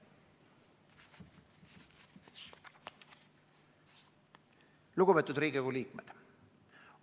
Lugupeetud Riigikogu liikmed!